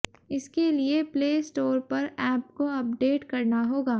इसके लिए play store पर ऐप को अपडेट करना होगा